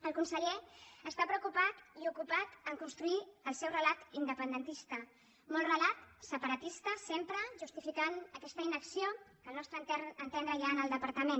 el conseller està preocupat i ocupat a construir el seu relat independentista molt relat separatista sempre justificant aquesta inacció que al nostre entendre hi ha en el departament